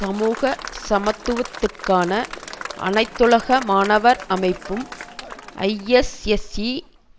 சமூக சமத்துவத்திற்கான அனைத்துலக மாணவர் அமைப்பும் ஐஎஸ்எஸ்ஈ